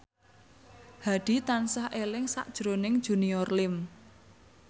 Hadi tansah eling sakjroning Junior Liem